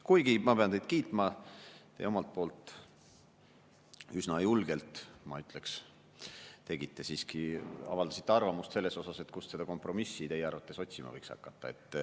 Kuigi ma pean teid kiitma, te omalt poolt üsna julgelt, ma ütleks, siiski avaldasite arvamust selle kohta, kust seda kompromissi võiks otsima hakata.